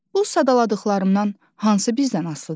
Bu sadaladıqlarımdan hansı bizdən asılı deyil?